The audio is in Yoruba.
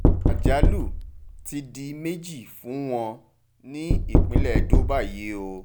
àjálù ti di méjì fún wọn ní ìpínlẹ̀ edo báyìí o